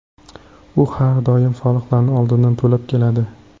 U har doim soliqlarni oldindan to‘lab keladi.